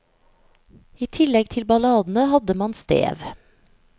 I tillegg til balladene hadde man stev.